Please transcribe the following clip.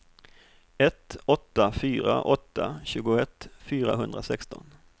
ett åtta fyra åtta tjugoett fyrahundrasexton